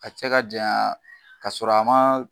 A cɛ ka janya ka sɔrɔ a ma